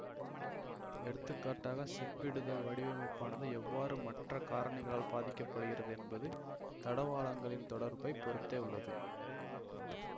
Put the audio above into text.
எடுத்துக்காட்டாக சிப்பமிடுதல் வடிவமைப்பானது எவ்வாறு மற்ற காரணிகளால் பாதிக்க படுகிறது என்பது தடவாளங்களின் தொடர்பை பொருத்தே உள்ளது